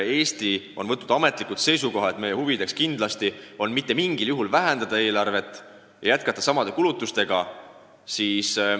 Eesti on võtnud ametlikult seisukoha, et meie huvides on mitte mingil juhul vähendada eelarvet ja jätkata sama suurte kulutustega.